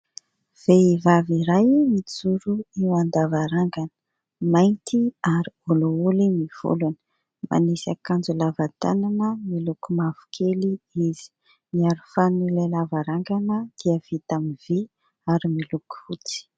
Vehivavy iray mijoro eo an-davarangana, mainty ary olioly ny volony, manisy akanjo lava tanana miloko mavokely izy. Ny aro fanin'ilay lavarangana dia vita amin'ny vy ary miloko fotsy.